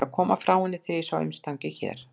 Ég var að koma frá henni þegar ég sá umstangið hér.